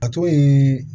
A to ye